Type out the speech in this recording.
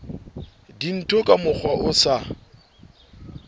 dintho ka mokgwa o sa